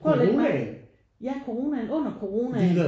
Prøv at ligge mærke ja coronaen under coronaen